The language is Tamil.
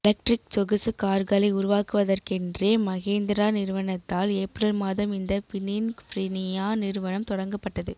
எலக்ட்ரிக் சொகுசு கார்களை உருவாக்குவதற்கென்றே மஹேந்திரா நிறுவனத்தால் ஏப்ரல் மாதம் இந்த பினின்ஃபர்னியா நிறுவனம் தொடங்கப்பட்டது